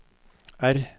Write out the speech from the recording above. R